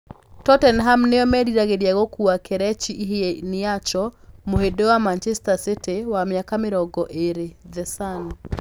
Tottenham nao nĩ meriragĩria gũkuua Kelechi Iheanacho, mũhĩndĩ wa Manchester City, wa mĩaka mĩrongo ĩrĩ (The Sun).